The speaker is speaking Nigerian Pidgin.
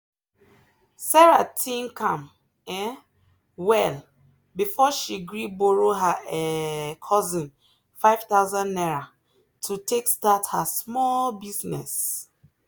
sarah think am um well before she gree borrow her um cousin ₦5000 to take start her small business.